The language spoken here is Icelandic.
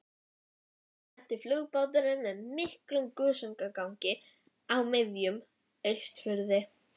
Svo lenti flugbáturinn með miklum gusugangi úti á miðjum Austurfirði.